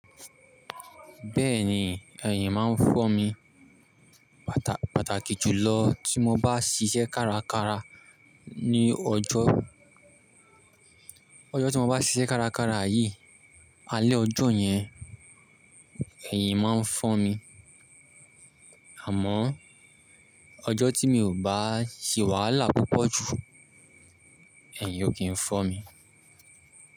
Bẹ́ẹ̀ni, ẹ̀yìn máa ń fọ́ mi. Pàtàkì jùlọ tí mo bá ṣiṣẹ́ kárakára ní ọjọ́, ọjọ́ tí mo bá ṣiṣẹ́ kárakára yìí, alẹ́ ọjọ́ yẹn ẹ̀yìn máa ń fọ́ mi. Àmọ́ ọjọ́ tí mi ò bá ṣì wàhálà púpọ̀ jù, ẹ̀yìn ò kí ń fọ́ mi.